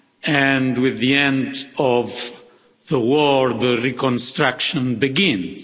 and, with the end of the war, reconstruction begins.